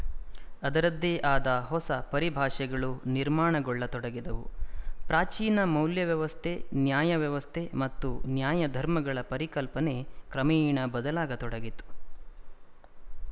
ಅದರದ್ದೇ ಆದ ಹೊಸ ಪರಿಭಾಷೆಗಳು ನಿರ್ಮಾಣಗೊಳ್ಳತೊಡಗಿದವು ಪ್ರಾಚೀನ ಮೌಲ್ಯವ್ಯವಸ್ಥೆ ನ್ಯಾಯ ವ್ಯವಸ್ಥೆ ಮತ್ತು ನ್ಯಾಯಧರ್ಮಗಳ ಪರಿಕಲ್ಪನೆ ಕ್ರಮೇಣ ಬದಲಾಗತೊಡಗಿತು